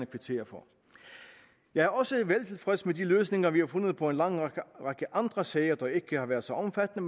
kvittere for jeg er også veltilfreds med de løsninger vi har fundet på en lang række andre sager der ikke har været så omfattende